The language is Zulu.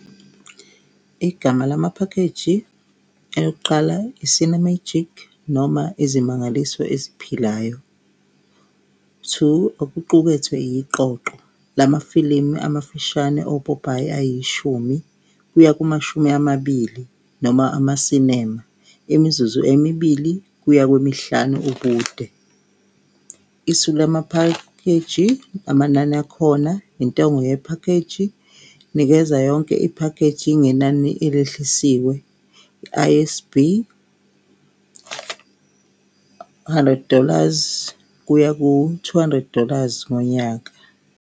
Igama la maphakheji eyokuqala i-CineMagic noma izimangaliso eziphilayo two, okuqukethwe iqoqo lamafilimu amafushane opopayi ayishumi kuya kumashumi amabili noma ama-cinema, imizuzu emibili kuya kwemihlanu ubude isu la maphakheji amanani akhona intengo yephakeji. Nikeza yonke iphakheji ngenani elehlisiwe i-I_S_B , hundred dollars kuya ku-two hundred dollars ngonyaka.